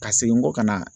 Ka segin n kɔ ka na